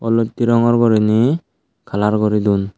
oloitte rongor gurinei kalar guri don.